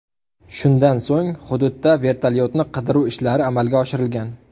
Shundan so‘ng, hududda vertolyotni qidiruv ishlari amalga oshirilgan.